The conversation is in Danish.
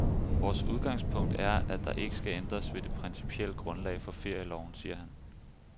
Vores udgangspunkt er, at der ikke skal ændres ved det principielle grundlag for ferieloven, siger han.